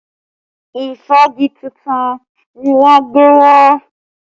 Ìfági tuntun ni wọ́n gbé wá